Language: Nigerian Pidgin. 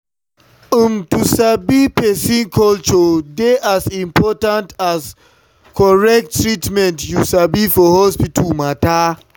umm to sabi person culture dey as important as correct treatment you sabi for hospital matter.